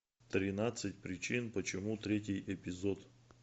тринадцать причин почему третий эпизод